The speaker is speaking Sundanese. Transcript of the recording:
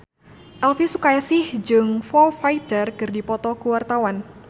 Elvi Sukaesih jeung Foo Fighter keur dipoto ku wartawan